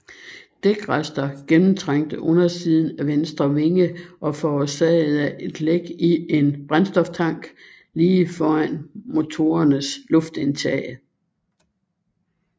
Dækrester gennemtrængte undersiden af venstre vinge og forårsagede et læk i en brændstoftank lige foran motorernes luftindtag